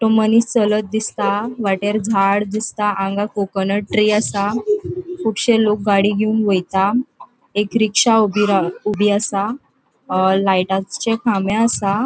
तो मनिस चलत दिसता वाटेर झाड दिसता हांग कोकनट ट्री आसा कुबशे लोक गाड़ी घेवन वयता एक रिक्शा ऊबी रा ऊबी आसा अ लायटा चे खामे आसा.